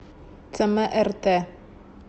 цмрт